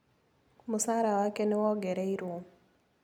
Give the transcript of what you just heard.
Mũcara wake nĩ wongereirwo.